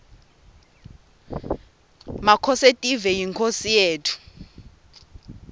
makhosetive yinkhosi yetfu